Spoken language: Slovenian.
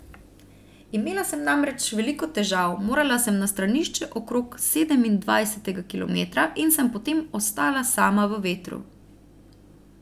Imela sem namreč veliko težav, morala sem na stranišče okrog sedemindvajsetega kilometra in sem potem ostala sama v vetru.